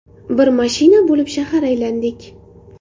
Bir mashina bo‘lib shahar aylandik.